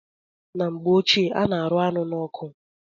Na mgbe ochie a na-arụ anụ n'ọkụ